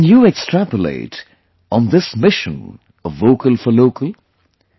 Can you extrapolate on this mission of 'Vocal for Local'